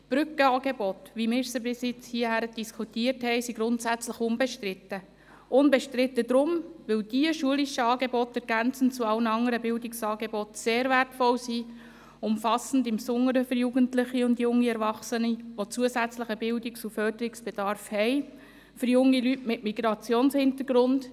Die Brückenangebote, wie wir sie bisher diskutiert haben, sind grundsätzlich unbestritten, weil diese schulischen Angebote ergänzend zu allen anderen Bildungsangeboten sehr wertvoll und umfassend sind, insbesondere für Jugendliche und junge Erwachsene, die zusätzlichen Bildungs- und Förderungsbedarf haben, für junge Leute mit Migrationshintergrund.